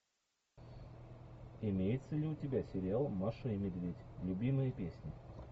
имеется ли у тебя сериал маша и медведь любимые песни